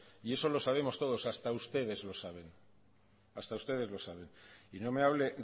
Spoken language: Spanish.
y eso lo sabemos todos hasta ustedes lo saben hasta ustedes lo saben y no me hable